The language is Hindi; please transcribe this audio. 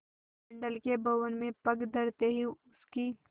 मंडल के भवन में पग धरते ही उसकी